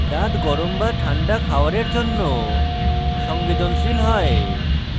দাঁত গরম এবং ঠান্ডা খাওয়ারের জন্য সংবেদনশীল হয়